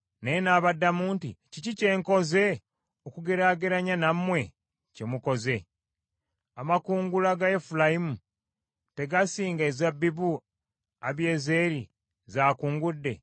Naye n’abaddamu nti, “Kiki kye nkoze okugeraageranya nammwe kye mukoze? Amakungula ga Efulayimu tegasinga ezabbibu Abiyezeeri z’akungudde?